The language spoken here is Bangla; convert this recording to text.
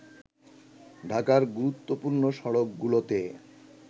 ঢাকার গুরুত্বপূর্ণ সড়কগুলোতে